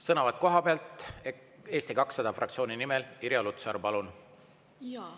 Sõnavõtt kohapealt Eesti 200 fraktsiooni nimel, Irja Lutsar, palun!